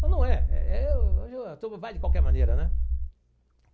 Mas não é. É o hoje o tudo vai de qualquer maneira, né?